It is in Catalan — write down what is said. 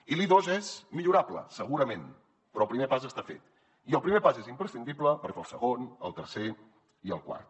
i l’i2 és millorable segurament però el primer pas està fet i el primer pas és imprescindible per fer el segon el tercer i el quart